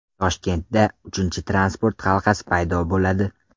Toshkentda uchinchi transport halqasi paydo bo‘ladi.